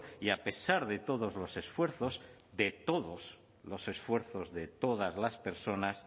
y a pesar de todos los esfuerzos de todos los esfuerzos de todas las personas